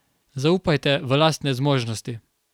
Zaupajte v lastne zmožnosti.